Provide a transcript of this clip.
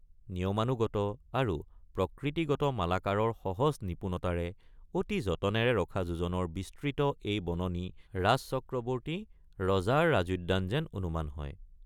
নিয়মানুগত আৰু প্ৰকৃতিগত মালাকৰৰ সহজ নিপুণতাৰে অতি যতনেৰে ৰখা যোজন বিস্তৃত এই বননি ৰাজচক্ৰৱৰ্তী ৰজাৰ ৰাজোদ্যান যেন অনুমান হয়।